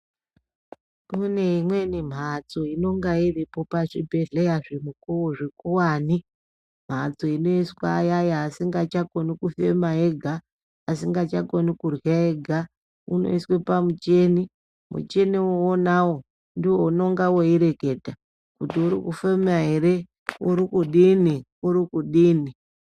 Kune imweni mhatso inonga iripo pachiibhedhlera zvikuwane. Mhatso inoiswe iyaya asingachakoni kufema ega, asingachakoni kurhya ega, unoiswe pamuchini. Muchini unawo ndiwo unonga weireketa kuti uri kufema ere, urikudini, urikudini.